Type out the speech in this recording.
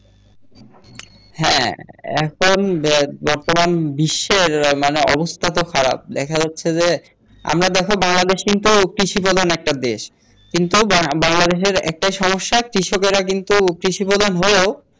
হ্যাঁ এখন বর্তমান বিশ্বের মানে অবস্থা তো খারাপ দেখা যাচ্ছে যে আমরা দেখো বাংলাদেশেই তো কৃষি প্রধান একটা দেশ কিন্তু বাংলাদেশের একটা সমস্যা কৃষকেরা কিন্তু কৃষি প্রধান হয়েও